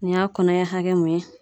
Nin y'a kɔnɔɲɛ hakɛ min ye.